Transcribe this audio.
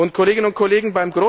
Kolleginnen und Kollegen!